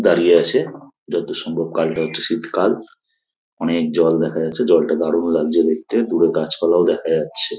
দাড়িয়ে আছে। যতদূর সম্ভব গাঢ় শীতকাল । অনেক জল দেখা যাচ্ছে জলটা দারুন লাগছে দেখতে। দূরে গাছপালাও দেখা যাচ্ছে।